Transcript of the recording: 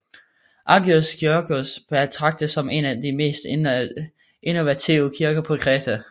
Aghios Georgios betragtes som en af de mest innovative kirker på Kreta